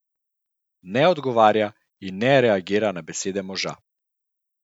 Ne odgovarja in ne reagira na besede moža.